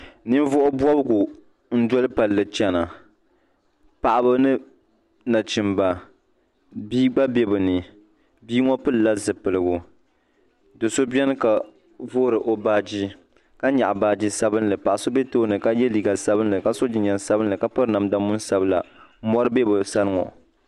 ninvuɣ' bɔbigu n-doli palli n-chana paɣaba ni nachimba bia gba be bɛ ni bia ŋɔ pili la zupiligu do' so beni ka vuri o baaji ka nyaɣi baaji sabinli paɣ' so be tooni ka ye liiga sabinli ka sɔ jinjam sabinli ka piri namda moni sabila mɔri be bɛ sani ŋɔ.